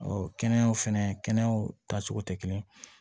kɛnɛyaw fɛnɛ kɛnɛyaw taacogo tɛ kelen ye